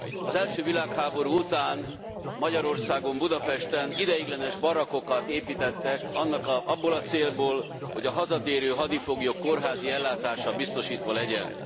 Az első világháború után Magyarországon, Budapesten ideiglenes barakkokat építettek abból a célból, hogy a hazatérő hadifoglyok kórházi ellátása biztosítva legyen.